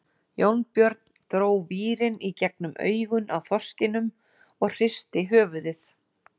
Jónbjörn dró vírinn í gegnum augun á þorskinum og hristi höfuðið.